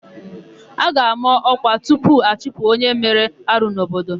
A ga-àmá ọ́kwà tupu achụpụ onye mere arụ n'obodo.